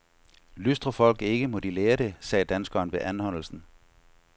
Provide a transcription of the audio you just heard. Lystrer folk ikke, må de lære det, sagde danskeren ved anholdelsen.